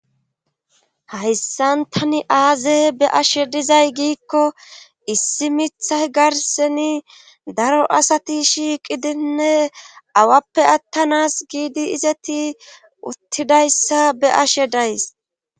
hayssan tani aaze be'ashe dizay giikko issi mithay garseni daro asati shiiqidinne awappe attanas giidi izeti uttidayssa be ashe days